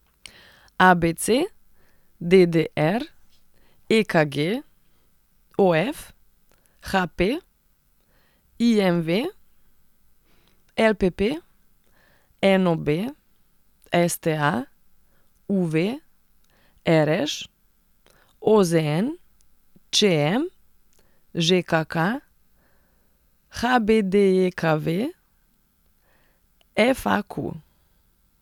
A B C; D D R; E K G; O F; H P; I M V; L P P; N O B; S T A; U V; R Š; O Z N; Č M; Ž K K; H B D J K V; F A Q.